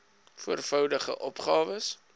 voor voudigde opgawes